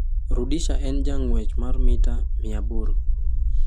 Rudisha en jang'wech mar mita 800